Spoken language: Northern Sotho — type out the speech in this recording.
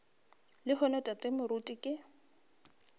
le lehono tate moruti ke